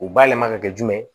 U bayɛlɛma ka kɛ jumɛn ye